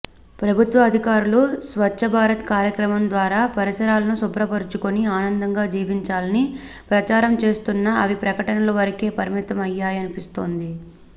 ప్రభుత్వ అధికారులు స్వచ్చభారత్ కార్యక్రమం ద్వారా పరిసరాలను శుభ్రపరుచుకొని ఆనందంగా జీవించాలని ప్రచారం చేస్తున్నా అవి ప్రకటనల వరకే పరిమితమయ్యాయనిపిస్తోంది